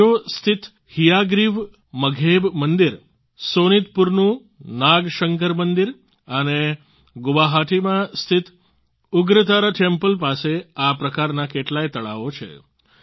હજો સ્થિત હયાગ્રીવ મઘેબ મંદિર સોનિતપુરનું નાગશંકર મંદિર અને ગુવાહાટીમાં સ્થિત ઉગ્રતારા ટેમ્પલ પાસે આ પ્રકારના કેટલાય તળાવો છે